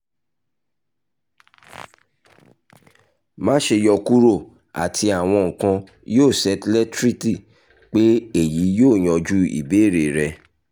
má ṣe yọkuro ati awọn nkan yoo settlereti pe eyi yoo yanju ibeere rẹ